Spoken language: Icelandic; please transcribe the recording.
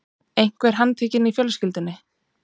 Einhver handtekinn í fjölskyldunni?